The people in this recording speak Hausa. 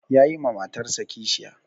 Yayi wa matarsa kishiya